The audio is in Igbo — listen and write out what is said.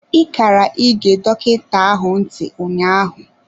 I kara ị ge dọkịta ahụ ntị ụnyaahụ.